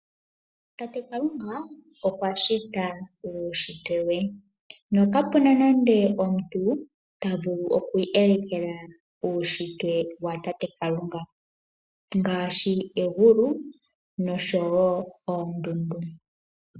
Tate Kalunga okwa shita uushitwe we, no kapuna nande omuntu ta vulu oku elekela uushitwe wa tate Kalunga ngaashi egulu noshowo oondundu.